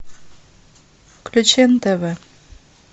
включи нтв